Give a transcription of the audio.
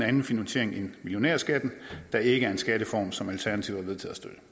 anden finansiering end millionærskatten der ikke er en skattereform som alternativet